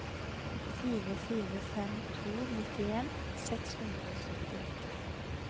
fire fire fem to nittien seks hundre og syttiåtte